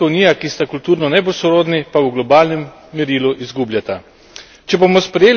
ZDA in Evropska unija, ki sta kulturno najbolj sorodni, pa v globalnem merilu izgubljata.